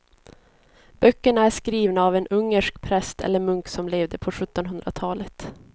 Böckerna är skrivna av en ungersk präst eller munk som levde på sjuttonhundratalet.